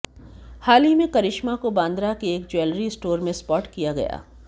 हाल ही में करिश्मा को बांद्रा के एक ज्वैलरी स्टोर में स्पॉट किया गया